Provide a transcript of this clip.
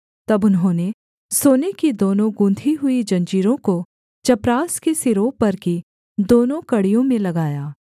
तब उन्होंने सोने की दोनों गूँथी हुई जंजीरों को चपरास के सिरों पर की दोनों कड़ियों में लगाया